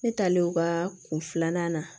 Ne talen o ka kun filanan na